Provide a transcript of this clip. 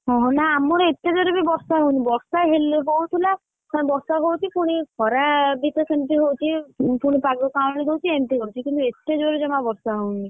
ଓହୋ ନା ଆମର ଏତେ ଜୋରେ ବି ବର୍ଷା ହାଉନି ମ, ବର୍ଷା ହେଲେ ହଉଥିଲା ପୁଣି ବର୍ଷା ହଉଛି ପୁଣି ଖରା ବିତ ସେମତି ହଉଛି, ପୁଣି ପାଗ କାଉଁଳି ଦଉଚି, ପୁଣି ଏମତି କରୁଛି, କିନ୍ତୁ ଏତେଜୋରେ ଜମା ବର୍ଷା ହଉନି,